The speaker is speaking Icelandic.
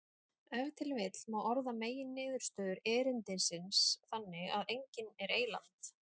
Ef til vill má orða meginniðurstöður erindisins þannig að enginn er eyland.